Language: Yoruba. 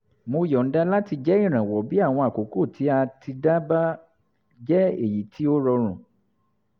mo yọ̀nda láti jẹ́ ìrànwọ́ bí àwọn àkókò tí a ti dá bá jẹ́ èyí tí ó rọrùn